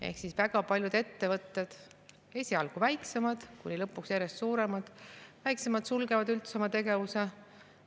Ehk väga paljud ettevõtted, esialgu väiksemad, kuni lõpuks järjest suuremad sulgevad üldse oma tegevuse.